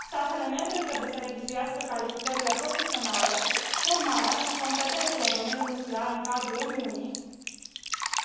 Statele membre trebuie să revizuiască calificările profesionale, formarea și competențele în domeniul nuclear în cadrul Uniunii,